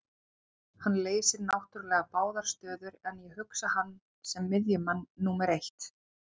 Hann leysir náttúrulega báðar stöður en ég hugsa hann sem miðjumann númer eitt.